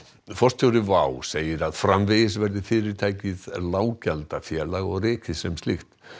forstjóri WOW segir að framvegis verði fyrirtækið lággjaldafélag og rekið sem slíkt